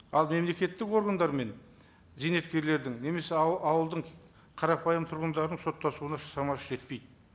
ал мемлекеттік органдармен зейнеткерлердің немесе ауылдың қарапайым тұрғындарының соттасуына шамасы жетпейді